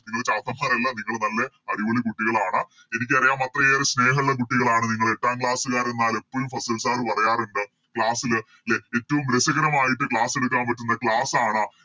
നിങ്ങള് ചാത്തമ്മാരല്ല നിങ്ങള് നല്ല അടിപൊളി കുട്ടികളാണ് എനിക്കറിയാം അത്രയേറെ സ്നേഹള്ള കുട്ടികളാണ് നിങ്ങള് എട്ടാം Class കാരമ്മാര് എപ്പഴും ഫസിൽ Sir പറയാറുണ്ട് Class ല് ലെ എറ്റോം രസകരമായിട്ട് Class എടുക്കാൻ പറ്റുന്ന Class ആണ്